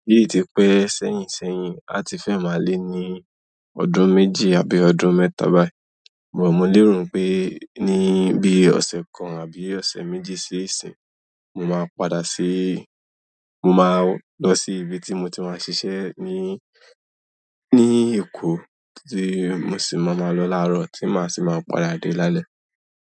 Bí i ti pé sẹ́yìnsẹ́yìn a ti fẹ́ máa lé ní ọdún méjì àbí ọdún mẹ́ta báyìí, mo mọ́ lé ro pé ní bí ọ̀sẹ̀ kan àbí ọ̀sẹ̀ méjì sí ìsín, mo máa padà sí-- mo máa lọ sí ibi tí mo ti máa ṣiṣẹ́ ní, ní Èkó tí mo sì máa ma lọ láàárọ̀ tí má sì máa padà dé lálẹ́.